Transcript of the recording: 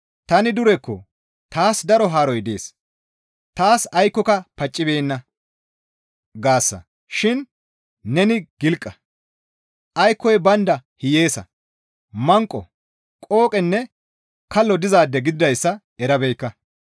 ‹Tani durekko; taas daro haaroy dees; taas aykkoyka paccibeenna› gaasa shin neni gilqa; aykkoy baynda hiyeesa; manqo; qooqenne kallo dizaade gididayssa erabeekka.